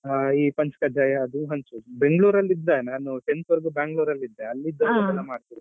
ಅಹ್ ಈ ಪಂಚ್ ಕಜ್ಜಾಯ ಅದು ಹಂಚುದು Bangalore ಲ್ಲಿ ಇದ್ದೆ ನಾನು tenth ವರಿಗು ನಾನು Bangalore ಲ್ಲೇ ಇದ್ದೆ ಅಲ್ಲಿ ಇದೆಲ್ಲ ಮಾಡ್ತಾರೆ.